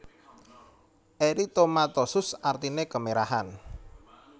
Eritomatosus artine kemerahan